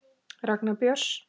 Ragnar Björns.